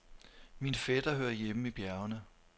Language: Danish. Min fætter hører hjemme i bjergene.